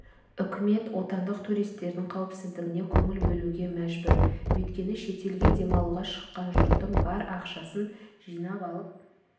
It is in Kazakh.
үкімет отандық туристердің қауіпсіздігіне көңіл бөлуге мәжбүр өйткені шетелге демалуға шыққан жұрттың бар ақшасын жинап алып